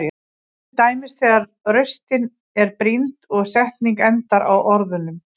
Til dæmis þegar raustin er brýnd og setning endar á orðunum.